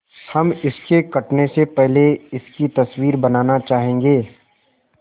हम इसके कटने से पहले इसकी तस्वीर बनाना चाहेंगे